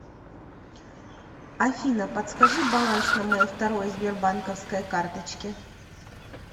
афина подскажи баланс на моей второй сбербанковской карточке